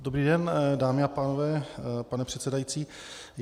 Dobrý den, dámy a pánové, pane předsedající.